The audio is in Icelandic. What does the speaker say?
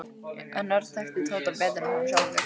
En Örn þekkti Tóta betur en hann sjálfur.